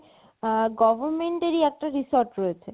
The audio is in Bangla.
আ~ government ই একটা resort রয়েছে